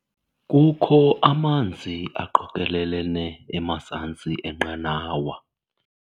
Kukho amanzi aqokelelene emazantsi enqanawa.